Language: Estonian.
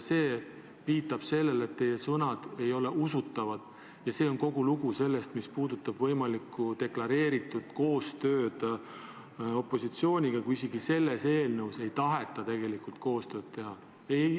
See viitab sellele, et teie sõnad ei ole usutavad, ja see on kogu lugu, mis puudutab võimalikku deklareeritud koostööd opositsiooniga, kui isegi selle eelnõu puhul ei taheta tegelikult koostööd teha.